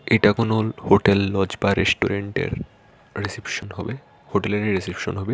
এটা কোনো hotel lodge বা রেস্টুরেন্টের রিসেপশন হবে হোটেলেরই রিসেপশন হবে।